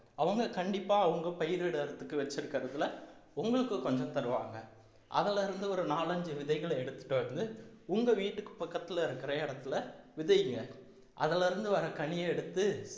அவங்க கண்டிப்பா அவங்க பயிரிடறதுக்கு வச்சிருக்கறதுல உங்களுக்கு கொஞ்சம் தருவாங்க அதுல இருந்து ஒரு நாலஞ்சு விதைகளை எடுத்துட்டு வந்து உங்க வீட்டுக்கு பக்கத்துல இருக்குற இடத்துல விதைங்க அதுல இருந்து வர கனியை எடுத்து